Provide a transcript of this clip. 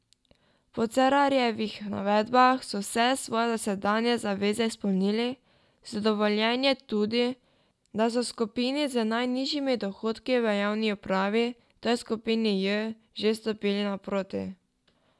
Po Cerarjevih navedbah so vse svoje dosedanje zaveze izpolnili, zadovoljen je tudi, da so skupini z najnižjimi dohodki v javni upravi, to je skupini J, že stopili naproti.